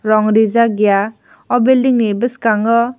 rong reejak eai aw building ni bwskango.